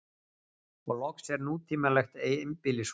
Og loks er nútímalegt einbýlishús.